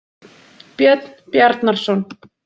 Björn Bjarnarson.